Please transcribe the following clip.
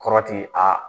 Kɔrɔti a